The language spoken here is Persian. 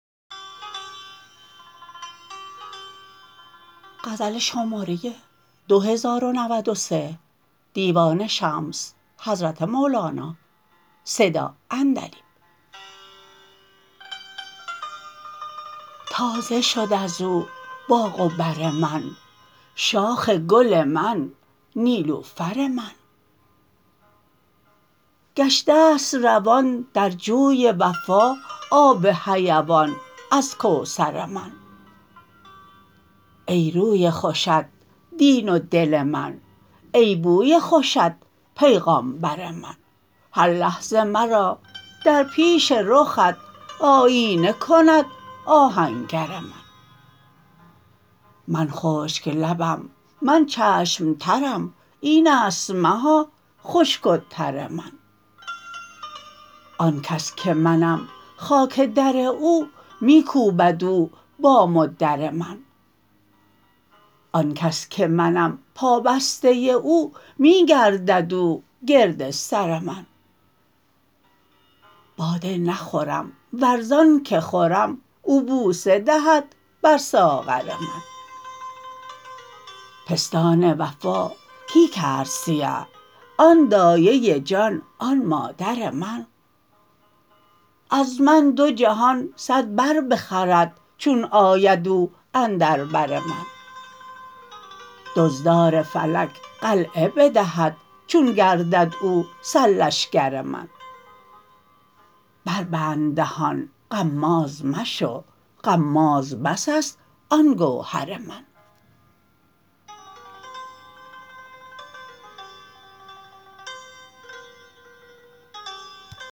تازه شد از او باغ و بر من شاخ گل من نیلوفر من گشته است روان در جوی وفا آب حیوان از کوثر من ای روی خوشت دین و دل من ای بوی خوشت پیغامبر من هر لحظه مرا در پیش رخت آیینه کند آهنگر من من خشک لبم من چشم ترم این است مها خشک و تر من آن کس که منم خاک در او می کوبد او بام و در من آن کس که منم پابسته او می گردد او گرد سر من باده نخورم ور ز آنک خورم او بوسه دهد بر ساغر من پستان وفا کی کرد سیه آن دایه جان آن مادر من از من دو جهان صد بر بخورد چون آید او اندر بر من دزدار فلک قلعه بدهد چون گردد او سرلشکر من بربند دهان غماز مشو غماز بس است آن گوهر من